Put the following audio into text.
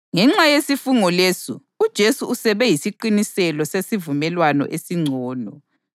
Ngenxa yesifungo lesi, uJesu usebe yisiqiniselo sesivumelwano esingcono.